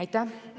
Aitäh!